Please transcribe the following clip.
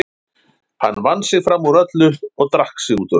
Hann vann sig fram úr öllu og drakk sig út úr öllu.